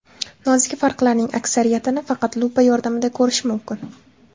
Nozik farqlarning aksariyatini faqat lupa yordamida ko‘rish mumkin.